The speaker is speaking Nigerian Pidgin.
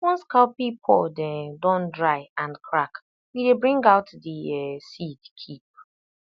once cowpea pod um don dry and crack we dey bring out the um seed keep